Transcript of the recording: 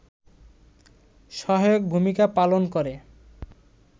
সহায়ক ভূমিকা পালন করে